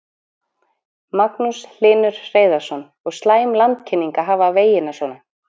Magnús Hlynur Hreiðarsson: Og slæm landkynning að hafa vegina svona?